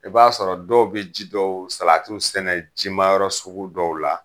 I b'a sɔrɔ dɔw be ji dɔw salatiw sɛnɛ jimayɔrɔ sugu dɔw la